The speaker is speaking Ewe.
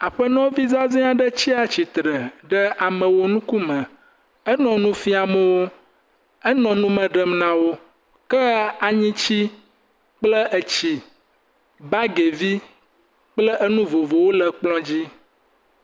Aƒenɔvi zaze aɖe tsia tsitre ɖe ame nu ŋkume, enɔ nu fiam wò. Enɔ nume ɖem nawo ke aŋuti kple etsi bagivi kple enu vovovowo le ekplɔ dzi.